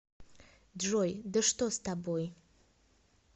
джой да что с тобой